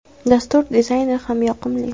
Dastur dizayni ham yoqimli.